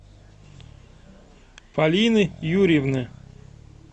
полины юрьевны